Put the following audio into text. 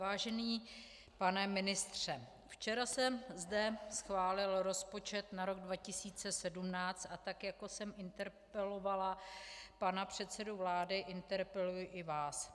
Vážený pane ministře, včera se zde schválil rozpočet na rok 2017 a tak jako jsem interpelovala pana předsedu vlády, interpeluji i vás.